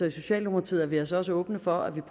i socialdemokratiet er vi altså også åbne for at vi